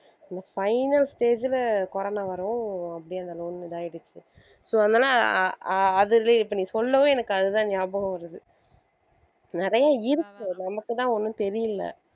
இந்த final stage ல corona வரவும் அப்படியே அந்த loan இதாயிடுச்சு so அதனால ஆஹ் அதுவே நீ இப்ப சொல்லவும் எனக்கு அதுதான் ஞாபகம் வருது நிறைய இருக்கு நமக்கு தான் ஒண்ணும் தெரியல.